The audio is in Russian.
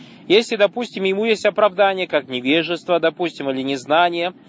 если допустим ему есть оправдание как невежество допустим или незнание